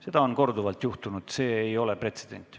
Seda on korduvalt juhtunud, see ei ole pretsedent.